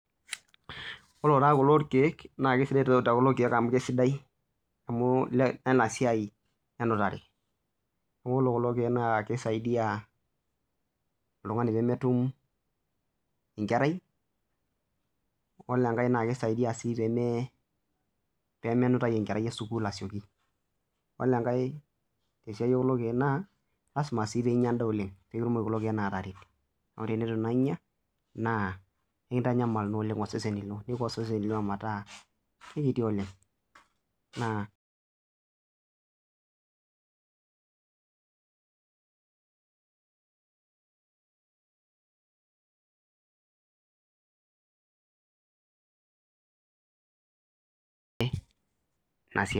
Ore kulo keek naa kisidai amu Lena siai enutai neeku ore kulo keek naa kisaidia oltung'ani pee metum enkerai ore enkae naa kisaidia sii pee me nutai enkerai ee sukuul asioki ore enkae tekulo keek naa lasima sii pee enyia endaa oleng pee kitumoki kulo keek atareto amu teneitu taa enyia naa ekintanyamal osesen lino metaa kiti oleng